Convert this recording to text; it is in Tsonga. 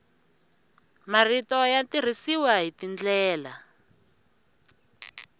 marito ya tirhisiwa hi tindlela